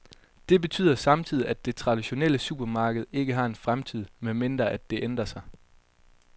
Det betyder samtidig, at det traditionelle supermarked ikke har en fremtid, medmindre at det ændrer sig.